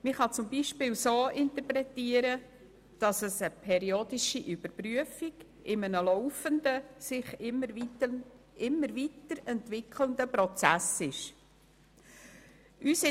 Man kann ihn beispielsweise als periodische Überprüfung in einem laufenden, sich immer weiter entwickelnden Prozess betrachten.